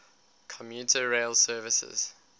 commuter rail services